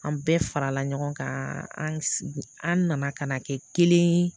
An bɛɛ farala ɲɔgɔn kan an nana ka na kɛ kelen ye